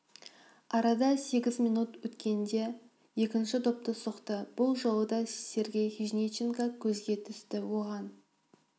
арада сегіз минут өткенде екінші допты соқты бұл жолы да сергей хижниченко көзге түсті оған